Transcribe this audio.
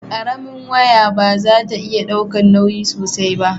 karamin waya ba za ta iya daukan nauyi sosai ba